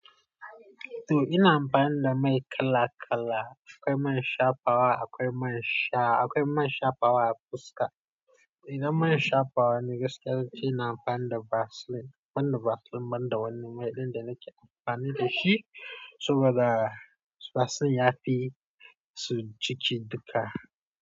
To ina amfani da mai kala-kala. Akwai man shafawa akwai man sha, akwai man shafawa a fuska. Idan man shafawa ne gaskiya zance ina amfani da vaseline, banda vaseline banda wani mai ɗin danake amfani fashi, saboda vaseline yafi su ciki dulka.